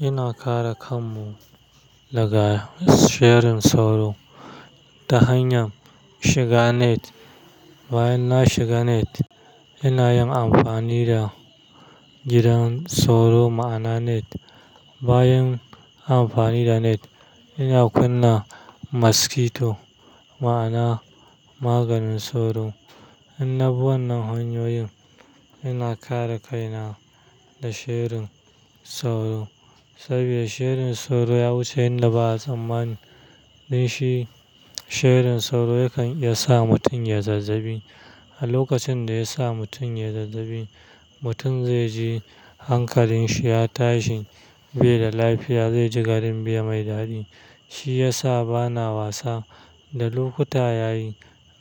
Ina kare kanmu daga shirin sauro ta hanyar shiga net. Bayan na shiga net, ina yin amfani da gidan sauro, ma'ana net. Bayan amfani da net, ina kunna maskito, ma'ana maganin sauro. In na bi wannan hanyoyin, ina kare kaina da shirin sauro saboda shirin sauro ya wuce yadda ba a tsammani. Don shi, shirin sauro yakan iya sa mutum ya zazzabi. A lokacin da ya sa mutum ya zazzabi, mutum zai ji hankalin shi ya tashi, bai da lafiya, zai ji garin bai mai daɗi. Shi ya sa bana wasa da lokuta ya yi.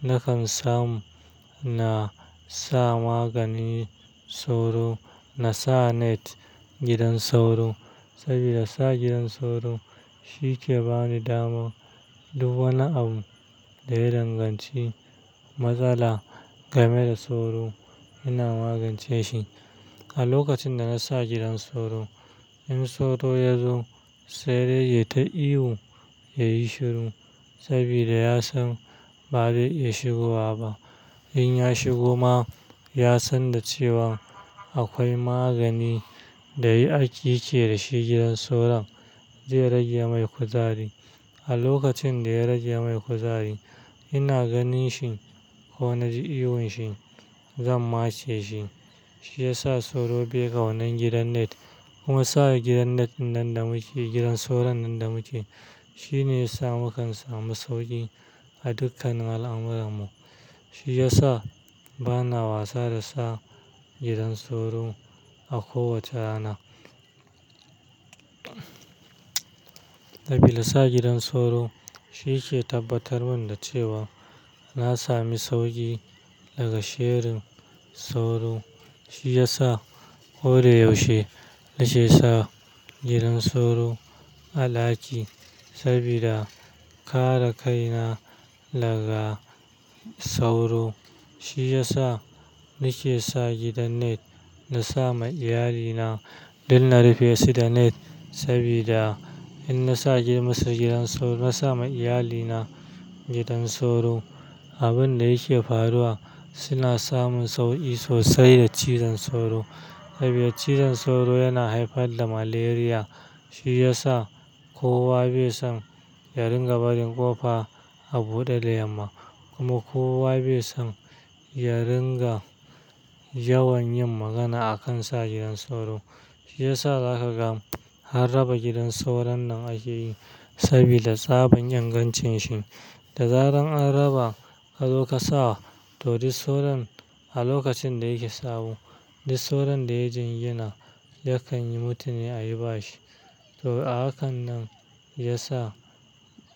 Nakan samu na sa maganin sauro, na sa net, gidan sauro saboda sa gidan sauro shi ke bani dama duk wani abu da ya danganci matsala game da sauro, ina magance shi. A lokacin da na sa gidan sauro, in sauro ya zo, sai dai ya ta iwo, ya yi shiru saboda ya san ba zai iya shigowa ba. In ya shigo ma, ya san da cewa akwai magani da yake da shi gidan soron zai rage mai kuzari. A lokacin da ya rage mai kuzari, ina ganin shi ko na ji ihu shi, zan matse shi. Shi ya sa sauro bai ƙaunan gidan net kuma sa gidan net nan da muke, gidan soron nan da muke, shine ya sa mukan samu sauƙi a dukkanin al'amuran mu. Shi ya sa bana wasa da sa gidan sauro a kowace rana. Sabida sa gidan sauro shi ke tabbatar min da cewa na sami sauƙi daga shirin sauro. Shi ya sa ko da yaushe nake sa gidan sauro a ɗaki saboda kare kaina daga sauro. Shi ya sa nake sa gidan net na sa ma iyalina duk na rufe su da net saboda in na sa musu gidan sauro, na sa ma iyalina gidan sauro, abin da yake faruwa suna samun sauƙi sosai da cizon sauro. Saboda cizon sauro yana haifar da malaria. Shi ya sa kowa bai san ya ringa barin ƙofa a buɗe da yamma kuma kowa bai san ya ringa yawan yin magana a kan sa gidan sauro. Shi ya sa za ka ga har raba gidan sauron nan ake yi saboda tsaban ingancin shi. Da zaran an raba ka zo ka sa, to duk sauron a lokacin da yake sabo, duk sauron da ya jingina yakan yi mutu ne a yi bashi. To, a haka nan ya sa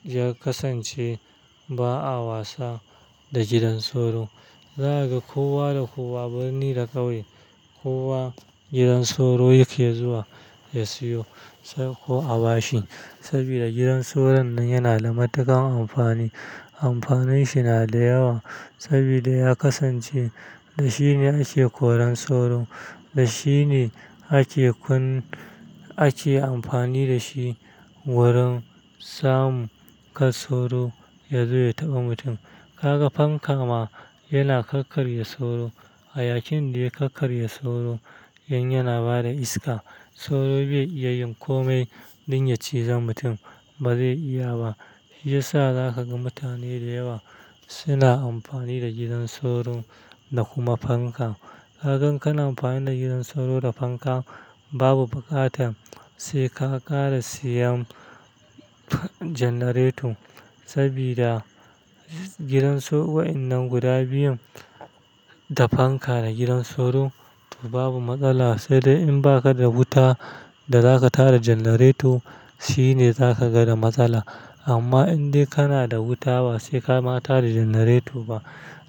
ya kasance ba a wasa da gidan sauro. Za ka ga kowa da kowa birni da ƙauye, kowa gidan sauro yake zuwa ya siyo ko a bashi saboda gidan sauron nan yana da matuƙar amfani. Amfanin shi na da yawa saboda ya kasance da shine ake koran sauro, da shi ne ake kun, ake amfani da shi wurin samun kar sauro ya zo ya taɓa mutum. Ka ga fanka ma yana kakkarya sauro. A yakin da ya kakkarya sauro, in yana bada iska, sauro bai iya yin kome don ya cizon mutum, ba zai iya ba. Shi ya sa za ka ga mutane da yawa suna amfani da gidan sauro da kuma fanka. Ka gan kana amfani da gidan sauro da fanka babu buƙatar sai ka ƙara siyan janareto saboda gidan sau-- wa'innan guda biyun, da fanka da gidan sauro, to babu matsala. Sai dai in baka da wuta da za ka tara janareto, shi ne za ka ga da matsala. Amma in dai kana da wuta ba sai ka ma tara janareto ba,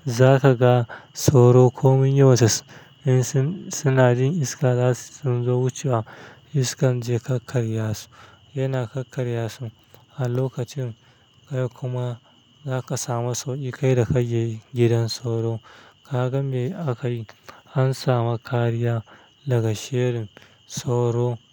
za ka ga sauro komin yawan, in sun, suna jin iska za sun zo wucewa. Iskan zai kakkarya su, yana kakkarya su. A lokacin kai kuma za ka samu sauƙi kai da kake gidan sauro. Ka gan me aka yi an sami kariya daga shairin sauro?